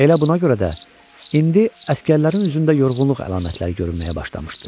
Elə buna görə də indi əsgərlərin üzündə yorğunluq əlamətləri görünməyə başlamışdı.